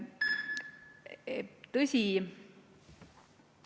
Tõsi ...